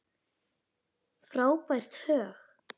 Frábært högg.